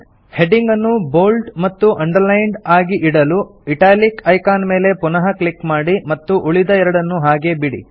heading ಅನ್ನು bold ಮತ್ತು underlined ಆಗಿ ಇಡಲು ಇಟಾಲಿಕ್ ಐಕಾನ್ ಮೇಲೆ ಪುನಃ ಕ್ಲಿಕ್ ಮಾಡಿ ಮತ್ತು ಉಳಿದ ಎರಡನ್ನು ಹಾಗೆಯೇ ಬಿಡಿ